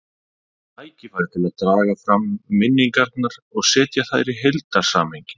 Tækifæri til að draga fram minningarnar og setja þær í heildarsamhengi.